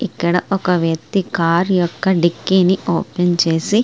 ఇక్కడ ఒక వ్యక్తి కారు యొక్క డిక్కీ ని ఓపెన్ చేసి --